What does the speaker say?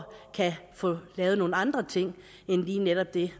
kan få lavet nogle andre ting end lige netop det